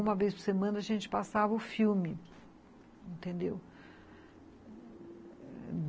Uma vez por semana a gente passava o filme.